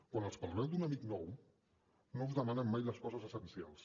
quan els parleu d’un amic nou no us en demanen mai les coses essencials